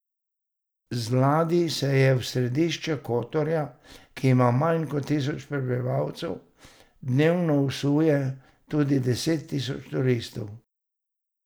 Z ladij se v središče Kotorja, ki ima manj kot tisoč prebivalcev, dnevno vsuje tudi deset tisoč turistov.